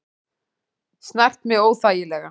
Snart mig óþægilega.